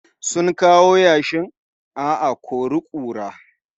Sun kawo yashin a a-kori-kura